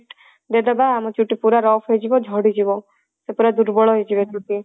ଦେଇଦବା ଆମ ଚୁଟି ପୁରା rough ହେଇଯିବ ଝଡି ଯିବ ସେ ପୁରା ଦୁର୍ବଳ ହେଇଯିବ ଚୁଟି